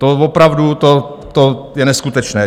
To opravdu, to je neskutečné.